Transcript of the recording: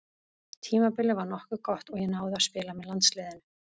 Tímabilið var nokkuð gott og ég náði að spila með landsliðinu.